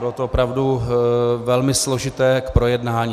Bylo to opravdu velmi složité k projednání.